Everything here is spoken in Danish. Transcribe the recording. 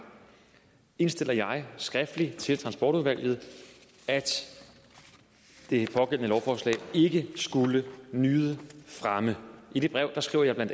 indstiller jeg skriftligt til transportudvalget at det pågældende lovforslag ikke skulle nyde fremme i det brev skriver jeg bla